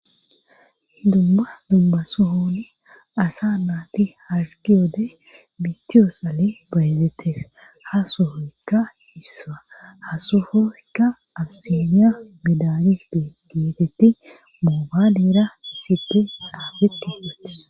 Dumma dumma sohooni asa naati hargi oode bittiyoo sale bayazettes hasohoykka hissaa hasohooykka abisemiya midanis de geetetti moobalera issipe saabeti wotes.